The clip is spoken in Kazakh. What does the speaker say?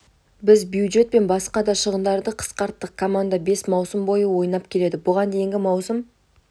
біз бюджет пен басқа да шығындарды қысқарттық команда бес маусым бойы ойнап келеді бұған дейінгі маусым